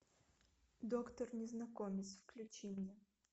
доктор незнакомец включи мне